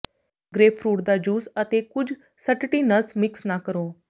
grapefruit ਦਾ juice ਅਤੇ ਕੁਝ ਸਟਟੀਨਸ ਮਿਕਸ ਨਾ ਕਰੋ